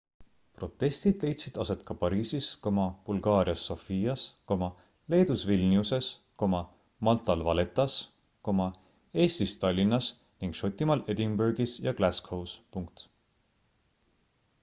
protestid leidsid aset ka pariisis bulgaarias sofias leedus vilniuses maltal valettas eestis tallinnas ning šotimaal edinburgis ja glascows